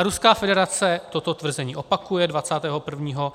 A Ruská federace toto tvrzení opakuje 21.